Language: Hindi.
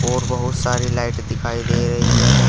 और बहुत सारी लाइट दिखाई दे रही है।